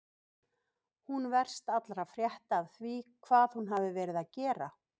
Hún verst allra frétta af því hvað hún hafi verið að gera.